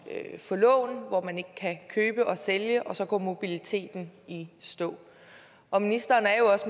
at få lån og hvor man ikke kan købe og sælge og så går mobiliteten i stå og ministeren er jo